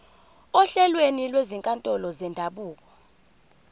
ohlelweni lwezinkantolo zendabuko